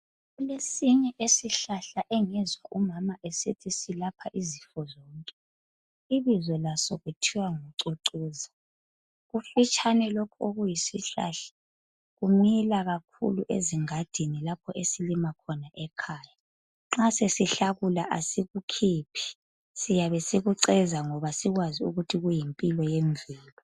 Kulesinye isihlahla engizwa umama esithi silapha izifo zonke. Ibizo laso kuthiwa ngucucuza .Kufitshane lokhu okuyisihlahla kumila kakhulu ezingadini lapho esilima khona ekhaya. Nxa sesihlakula asikukhiphi siyabe sikuceza ngoba sisazi ukuthi kuyimpilo yemvelo